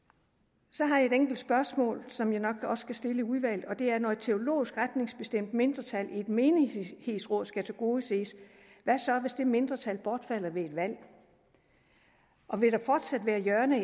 så har jeg et enkelt spørgsmål som jeg nok også skal stille i udvalget og det er når et teologisk retningsbestemt mindretal i et menighedsråd skal tilgodeses hvad så hvis det mindretal bortfalder ved et valg og vil der fortsat være hjørner i